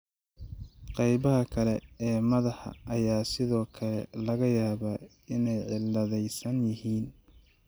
Qaybaha kale ee madaxa ayaa sidoo kale laga yaabaa inay cilladaysan yihiin.